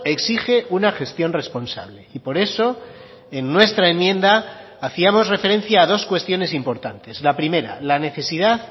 exige una gestión responsable y por eso en nuestra enmienda hacíamos referencia a dos cuestiones importantes la primera la necesidad